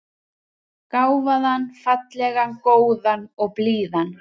Gáfaðan, fallegan, góðan og blíðan.